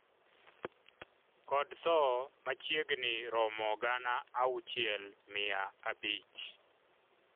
kod tho machiegni romo gana auchiel mia abich